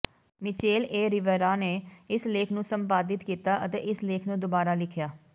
Mitchell A Rivera ਨੇ ਇਸ ਲੇਖ ਨੂੰ ਸੰਪਾਦਿਤ ਕੀਤਾ ਅਤੇ ਇਸ ਲੇਖ ਨੂੰ ਦੁਬਾਰਾ ਲਿਖਿਆ